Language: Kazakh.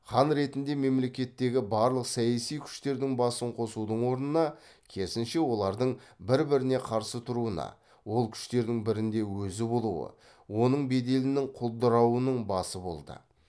хан ретінде мемлекеттегі барлық саяси күштердің басын қосудың орнына керісінше олардың бір біріне қарсы тұруына ол күштердің бірінде өзі болуы оның беделінің құлдырауының басы болды